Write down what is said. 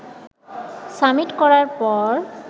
summit করার পর